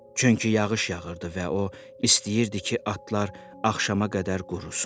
Çünki yağış yağırdı və o istəyirdi ki, atlar axşama qədər qurursun.